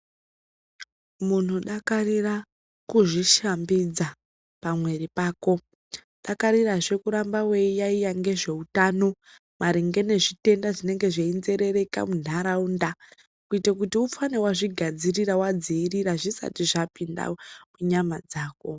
Muntu dakarira kuzvishambidza pamuiri pako. Dakarirazvee kuramba weiyaiya ngezveutano maringe nezvitenda zvinenga zveinserereka mundaraunda kuto kuti ufane wazvigadzirira zvisati zvapinda munyama dzako.